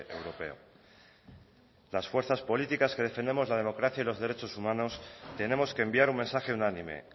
europeo las fuerzas políticas que defendemos la democracia y los derechos humanos tenemos que enviar un mensaje unánime